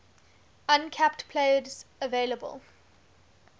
uncapped players available